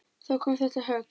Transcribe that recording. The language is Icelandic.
Þá kom þetta högg.